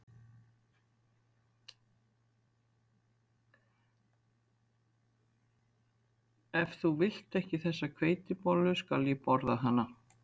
Ef þú vilt ekki þessa hveitibollu skal ég borða hana